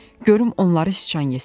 Görüm onları siçan yesin.